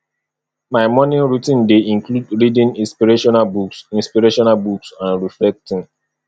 my morning routine dey include reading inspirational books inspirational books and reflecting